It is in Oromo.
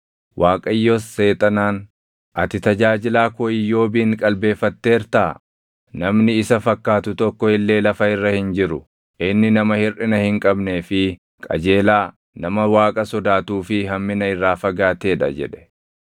Waaqayyos Seexanaan, “Ati tajaajilaa koo Iyyoobin qalbeeffatteertaa? Namni isa fakkaatu tokko illee lafa irra hin jiru; inni nama hirʼina hin qabnee fi qajeelaa, nama Waaqa sodaatuu fi hammina irraa fagaatee dha” jedhe.